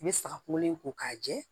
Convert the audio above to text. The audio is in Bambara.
I bɛ saga kolen ko k'a jɛ